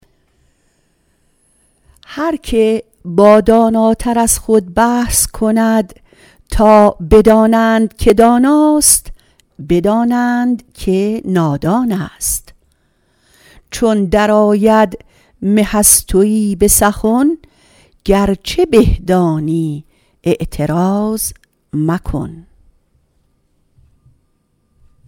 هر که با داناتر از خود بحث کند تا بدانند که داناست بدانند که نادان است چون در آید مه از تویی به سخن گرچه به دانی اعتراض مکن